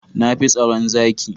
Na fi tsaron zaki.